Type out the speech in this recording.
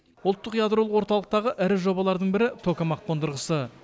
ұлттық ядролық орталықтағы ірі жобалардың бірі токамак қондырғысы